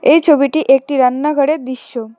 এই ছবিটি একটি রান্নাঘরের দৃশ্য।